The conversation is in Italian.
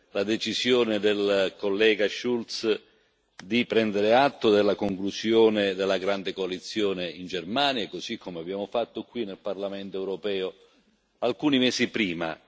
la decisione del collega Schulz di prendere atto della conclusione della grande coalizione in Germania, così come abbiamo fatto qui nel Parlamento europeo alcuni mesi prima.